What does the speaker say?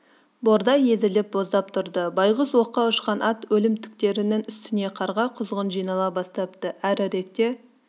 бордай езіліп боздап тұрды байғұс оққа ұшқан ат өлімтіктерінің үстіне қарға құзғын жинала бастапты әріректе